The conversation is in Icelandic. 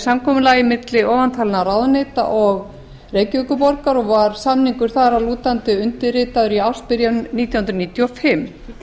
samkomulagi milli ofantalinna ráðuneyta og reykjavíkurborgar og var samningur þar að lútandi undirritaður í ársbyrjun nítján hundruð níutíu og fimm